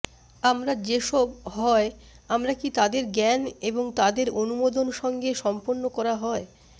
আমরা যে সব হয় আমরা কি তাদের জ্ঞান এবং তাদের অনুমোদন সঙ্গে সম্পন্ন করা হয়